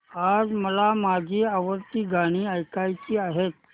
आज मला माझी आवडती गाणी ऐकायची आहेत